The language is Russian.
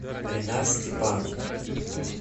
ренат степанов